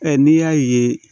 n'i y'a ye